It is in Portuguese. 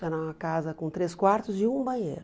Era uma casa com três quartos e um banheiro.